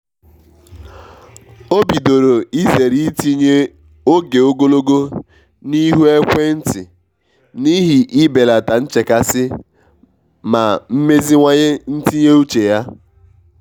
o bidoro izere itinye oge ogologo n’ihu ekwentị n'ihi i belata nchekasị ma meziwanye ntinye uche ya.